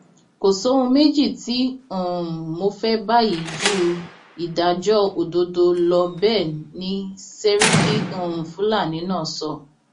kò sóhun méjì tí um mo fẹ báyìí ju ìdájọ òdodo lọ bẹẹ ni sẹríkì um fúlàní náà sọ